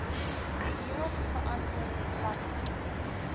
hierop geantwoord bl